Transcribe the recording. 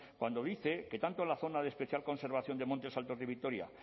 cuando dice que tanto la zona de especial conservación de montes altos de vitoria